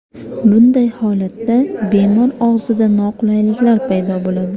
Bunday holatda bemor og‘zida noqulayliklar paydo bo‘ladi.